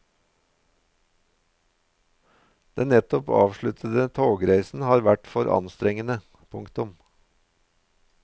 Den nettopp avsluttede togreisen har vært for anstrengende. punktum